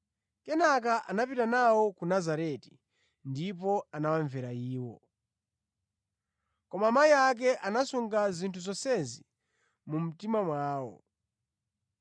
Kenaka anapita nawo ku Nazareti ndipo anawamvera iwo. Koma amayi ake anasunga zinthu zonsezi mu mtima mwawo.